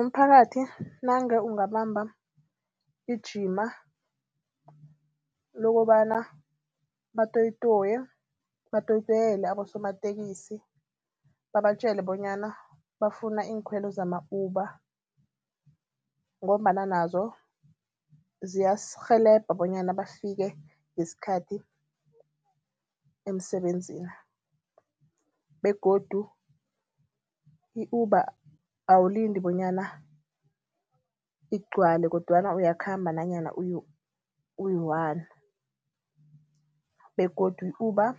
Umphakathi nange ungabamba ijima lokobana batoyi-toye, batoyi-toyele abosomatekisi babatjela bonyana bafuna iinkhwelo zama-Uber ngombana nazo ziyasirhelebha bonyana bafike ngeskhathi emsebenzini begodu i-Uber awulindi bonyana igcwale kodwana uyakhamba nanyana uyiwani begodu i-Uber